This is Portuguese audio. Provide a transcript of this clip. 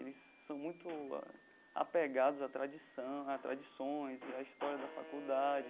Eles são muito a apegados a tradição a tradições e a história da faculdade.